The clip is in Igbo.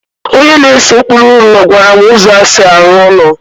onye na-ese ụkpụrụ ụlọ gwara m ụzọ e si arụ ụlọ